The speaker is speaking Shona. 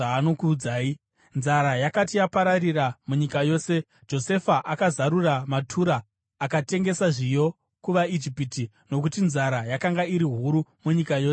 Nzara yakati yapararira munyika yose, Josefa akazarura matura akatengesa zviyo kuvaIjipita, nokuti nzara yakanga iri huru munyika yose yeIjipiti.